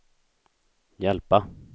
hjälpa